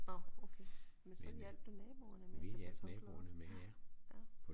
Nåh okay men så hjalp du naboerne med at tage kartofler op